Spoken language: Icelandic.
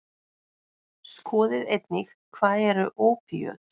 Skoðið einnig: Hvað eru ópíöt?